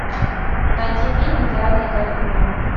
найти фильм идеальные каникулы